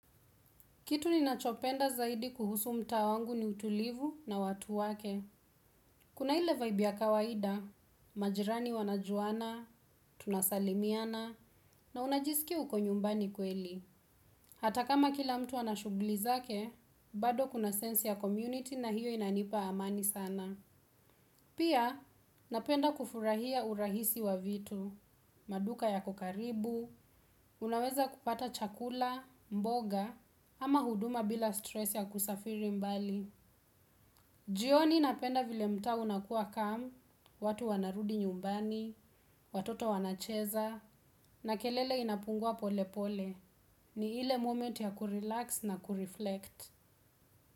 Kitu ni nachopenda zaidi kuhusu mtaa wangu ni utulivu na watu wake. Kuna ile vibe ya kawaida, majirani wanajuana, tunasalimiana, na unajiskia uko nyumbani kweli. Hata kama kila mtu anashughuli zake, bado kuna sense ya community na hiyo inanipa amani sana. Pia, napenda kufurahia urahisi wa vitu, maduka yako karibu, unaweza kupata chakula, mboga, ama huduma bila stress ya kusafiri mbali. Jioni napenda vile mtaa unakua calm, watu wanarudi nyumbani, watoto wanacheza, na kelele inapungua pole pole, ni ile moment ya kurelax na kureflect.